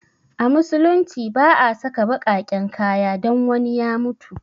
A musulunci ba a saka baƙaƙen kaya don wani ya mutu